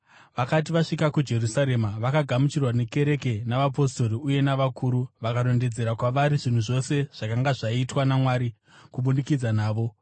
Vakati vasvika kuJerusarema, vakagamuchirwa nekereke navapostori uye navakuru, vakarondedzera kwavari zvinhu zvose zvakanga zvaitwa naMwari kubudikidza navo.